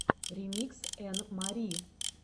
ремикс энн мари